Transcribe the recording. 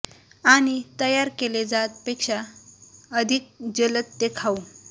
आणि तयार केले जात पेक्षा अधिक जलद ते खाऊ